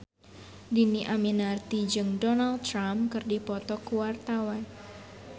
Dhini Aminarti jeung Donald Trump keur dipoto ku wartawan